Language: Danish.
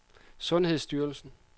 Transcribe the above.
sundhedsstyrelsen